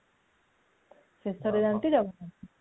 ଶେଷ ରେ ଯାନ୍ତି ଜଗନ୍ନାଥ